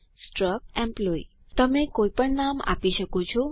struct employee તમે કોઇપણ નામ આપી શકો છો